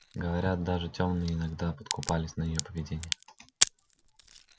говорят даже тёмные иногда подкупались на её поведение